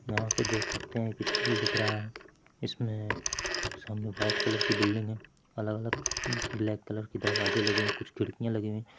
यहाँ पे देख सकते हैं की स्कूल दिख रहा है इसमे सामने व्हाइट कलर की बिल्डिंग है अलग-अलग ब्लैक कलर के दरवाजे लगे कुछ खिड़किया लगी हुईं --।